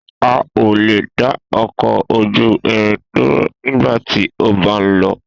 A o le dá ọkọ ojú irin dúró nigbati o ba n lọ